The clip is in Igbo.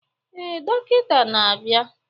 Ee, dọkịta na-abịa